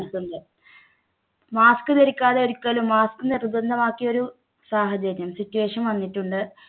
ന്നിട്ടുണ്ട് mask ധരിക്കാതെ ഒരിക്കലും mask നിർബന്ധമാക്കിയ ഒരു സാഹചര്യം situation വന്നിട്ടുണ്ട്.